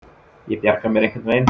Ég bjarga mér einhvern veginn.